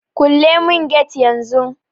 Kule mun get yan zun